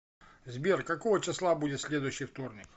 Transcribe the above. сбер какого числа будет следующий вторник